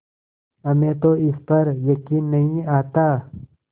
हमें तो इस पर यकीन नहीं आता